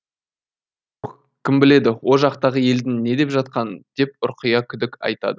кім біледі о жақтағы елдің не деп жатқанын деп ұрқия күдік айтады